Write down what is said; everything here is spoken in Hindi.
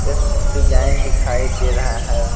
एक डिजाइन दिखाई दे रहा है।